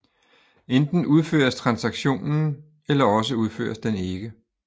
Enten udføres transaktionen eller også udføres den ikke